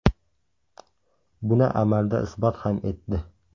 Buni amalda isbot ham etdi.